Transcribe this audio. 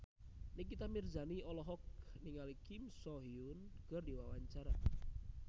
Nikita Mirzani olohok ningali Kim So Hyun keur diwawancara